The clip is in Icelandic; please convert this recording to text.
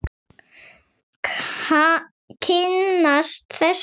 Kynnast þessu.